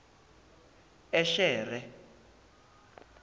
eshere